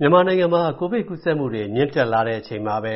မြန်မာနိုင်ငံမှာ ကိုဗစ်ကူးစက်မူတွေ မြင့်တက်လာတဲ့အချိန်မှာပဲ